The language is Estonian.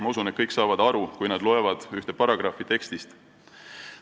Ma usun, et kõik saavad aru, kui nad loevad ühte paragrahvi sellest tekstist.